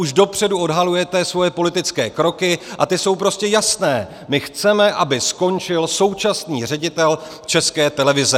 Už dopředu odhalujete svoje politické kroky, a ty jsou prostě jasné: My chceme, aby skončil současný ředitel České televize.